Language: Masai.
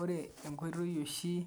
Ore enkoitoi oshii